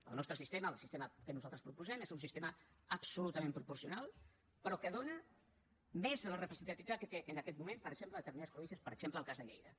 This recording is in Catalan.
el nostre sistema el sistema que nosaltres proposem és un sistema absolutament proporcional però que dóna més de la representativitat que té en aquest moment per exemple a determinades províncies per exemple el cas de lleida